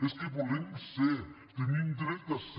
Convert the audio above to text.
és que volem ser tenim dret a ser